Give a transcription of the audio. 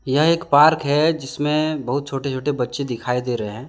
यह एक पार्क है जिसमें बहुत छोटे छोटे बच्चे दिखाई दे रहे हैं ।